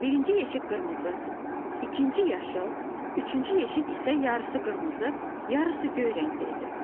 Birinci yeşik qırmızı, ikinci yaşıl, üçüncü yeşik isə yarısı qırmızı, yarısı göy rəngdə idi.